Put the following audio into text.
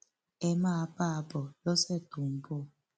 ẹ máa bá a bọ lọsẹ tó ń bọ